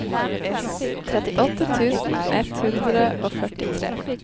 trettiåtte tusen ett hundre og førtitre